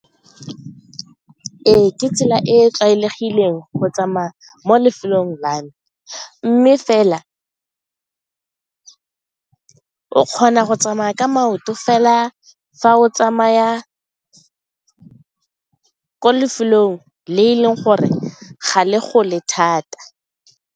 Ee, ke tsela e tlwaelegileng go tsamaya mo lefelong la me mme fela kgona go tsamaya ka maoto fela fa o tsamaya ko lefelong le e leng gore ga le gole thata.